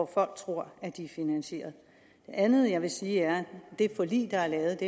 folk tror at de er finansierede det andet jeg vil sige er at det forlig der er lavet